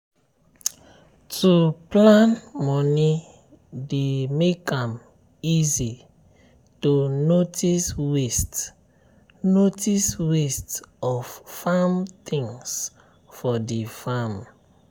to plan moni dey make am easy to notice waste notice waste of farm things for the farm.